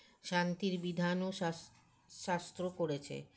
শান্তির বিধান ও শাস শাস্ত্র করেছে